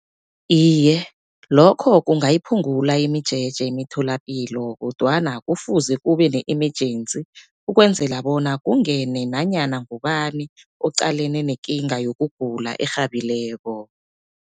Iye, lokho kungayiphungula imijeje emitholapilo kodwana kufuze kube ne-emergency, ukwenzela bona kungene nanyana ngubani oqalene nekinga yokugula erhabileko.